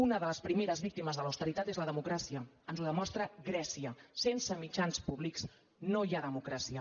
una de les primeres víctimes de l’austeritat és la de·mocràcia ens ho demostra grècia sense mitjans pú·blics no hi ha democràcia